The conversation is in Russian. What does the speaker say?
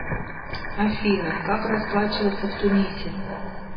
афина как расплачиваться в тунисе